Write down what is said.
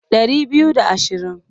Ɗari biyu da ashirin.